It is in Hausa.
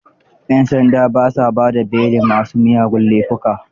yan sanda ba sa ba da belin ma su miyagun laifuka.